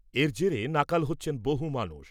এর জেরে নাকাল হচ্ছেন বহু মানুষ।